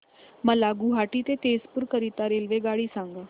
मला गुवाहाटी ते तेजपुर करीता रेल्वेगाडी सांगा